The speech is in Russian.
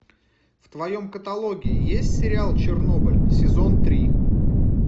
в твоем каталоге есть сериал чернобыль сезон три